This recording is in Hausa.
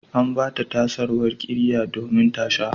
An ba ta sauwar ƙirya domin ta sha.